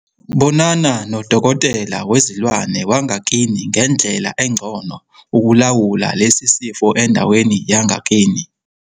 Bonana nodokotela wezilwane wangakini ngendlela engcono ukulawula lesi sifo endaweni yangakini.